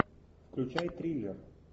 включай триллер